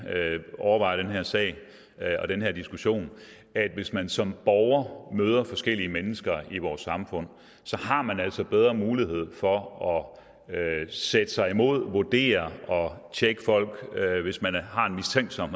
overvejer den her sag og den her diskussion at hvis man som borger møder forskellige mennesker i vores samfund så har man altså bedre mulighed for at sætte sig imod vurdere og tjekke folk hvis man er mistænksom